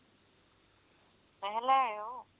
ਦਹੀਂ ਲੈ ਆਇਓ